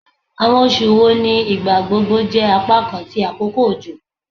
Awọn oṣu wo ni igbagbogbo jẹ apakan ti akoko ojo?